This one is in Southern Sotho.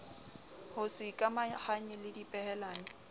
ho se ikamahanye le dipehelano